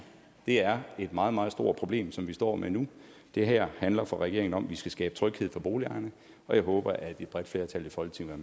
det er et meget meget stort problem som vi står med nu det her handler for regeringen om at vi skal skabe tryghed for boligejerne og jeg håber at et bredt flertal i folketinget